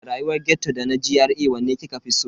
Da rayuwar ghetto da na GRA wanne kika fi so?